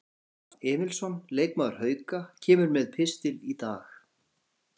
Hilmar Rafn Emilsson, leikmaður Hauka, kemur með pistil í dag.